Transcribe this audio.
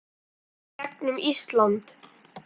þvert gegnum Ísland.